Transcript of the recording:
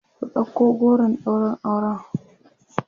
ku ɗauko goron ɗaurin auren!